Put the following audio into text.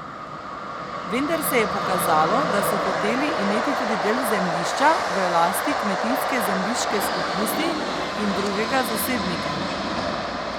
Vendar se je pokazalo, da so hoteli imeti tudi del zemljišča v lasti Kmetijske zemljiške skupnosti in drugega zasebnika.